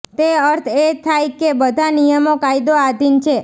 તે અર્થ એ થાય કે બધા નિયમો કાયદો આધીન છે